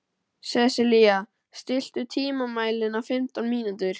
Sesilía, stilltu tímamælinn á fimmtán mínútur.